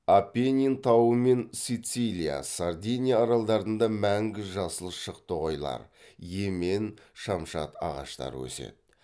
апеннин тауы мен сицилия сардиния аралдарында мәңгі жасыл шық тоғайлар емен шамшат ағаштары өседі